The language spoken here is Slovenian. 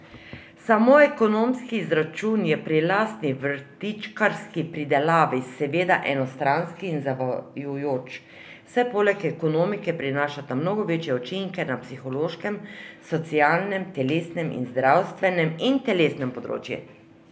Samo ekonomski izračun je pri lastni vrtičkarski pridelavi seveda enostranski in zavajajoč, saj poleg ekonomike prinašata mnogo večje učinke na psihološkem, socialnem, telesnem in zdravstvenem in telesnem področju.